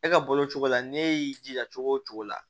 E ka balo cogo la ne y'i jija cogo o cogo la